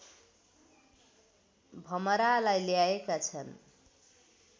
भमरालाई ल्याएका छन्